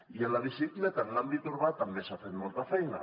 i amb la bicicleta en l’àmbit urbà també s’ha fet molta feina